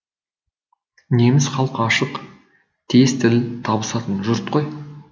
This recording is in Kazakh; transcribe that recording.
неміс халқы ашық тез тіл табысатын жұрт қой